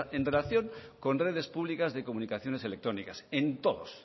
en relación con redes públicas de comunicaciones electrónicas en todos